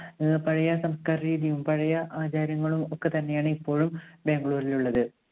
ആഹ് പഴയ സംസ്കാര രീതിയും പഴയ ആചാരങ്ങളും ഒക്കെ തന്നെയാണ് ഇപ്പോഴും ബാംഗ്ലൂരിൽ ഉള്ളത്.